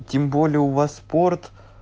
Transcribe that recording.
тем более у вас спорт